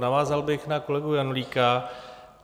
Navázal bych na kolegu Janulíka.